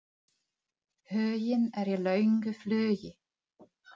Huginn er í löngu flugi.